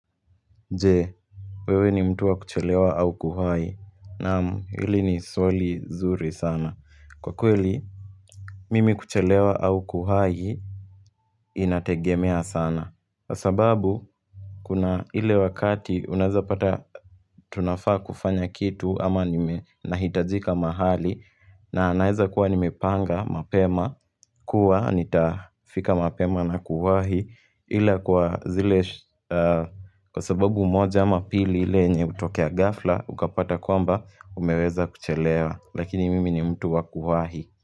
Je, wewe ni mtu wa kuchelewa au kuhai? Naam, hili ni swali zuri sana. Kwa kweli, mimi kuchelewa au kuhai Inategemea sana kwa sababu kuna ile wakati unawezapata Tunafaa kufanya kitu ama nahitajika mahali na naeza kuwa nimepanga mapema kuwa nitafika mapema na kuhai ila kwa zile kwa sababu moja ama pili ile yenye hutokea ghafla ukapata kwamba umeweza kuchelewa lakini mimi ni mtu wa kuwahi.